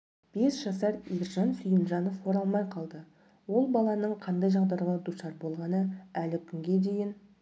бес жасар ержан сүйінжанов оралмай қалды ол баланың қандай жағдайға душар болғаны әлі күнге дейін